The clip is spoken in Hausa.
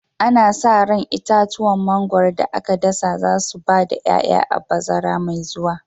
Ana sa ran itatuwan mangwaro da aka dasa za su ba da 'ya'ya a bazara mai zuwa.